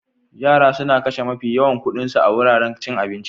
Yara suna kashe mafi yawan kuɗin su a wuraren cin abinci